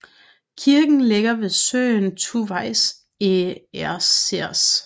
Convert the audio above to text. Kirken ligger ved søen Tuvais ezers